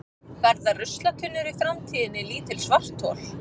verða ruslatunnur í framtíðinni lítil svarthol